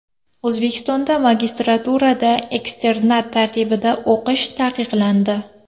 O‘zbekistonda magistraturada eksternat tartibida o‘qish taqiqlandi.